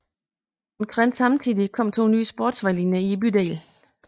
Omtrent samtidig kom to nye sporvejslinjer til bydelen